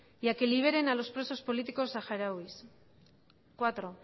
y a que liberen los presos políticos saharauis cuatro